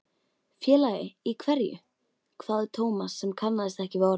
Félagi í hverju? hváði Thomas sem kannaðist ekki við orðið.